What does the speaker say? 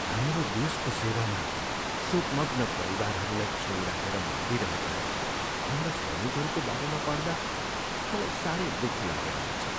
हाम्रो देशको सेवामा शोकमग्न परिवारहरूलाई छोडिराखेर मरिरहेका हाम्रा सैनिकहरूको बारेमा पढ्दा मलाई साह्रै दुःख लागेर आउँछ।